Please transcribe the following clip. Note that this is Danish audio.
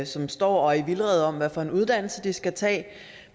som står og er i vildrede om hvad for en uddannelse de skal tage